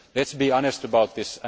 Let us be honest about this